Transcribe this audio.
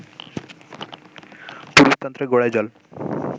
পুরুষতন্ত্রের গোড়ায় জল